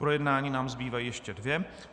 K projednání nám zbývají ještě dvě.